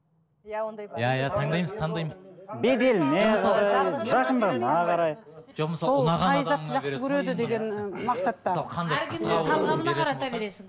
иә ондай бар иә иә таңдаймыз таңдаймыз